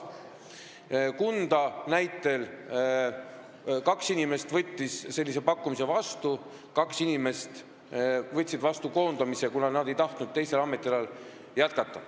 Kunda näide: kaks inimest võtsid sellise pakkumise vastu ja kaks inimest võtsid koondamise, kuna nad ei tahtnud teisel ametialal jätkata.